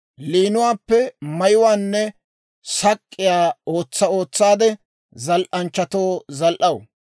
Liinuwaappe mayuwaanne sak'k'iyaa ootsa ootsaade, zal"anchchatoo zal"aw.